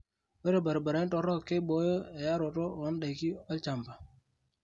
Ore baribarani torok keiboyo eyaroto oo ndaiki olchamba.